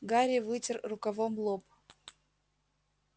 гарри вытер рукавом лоб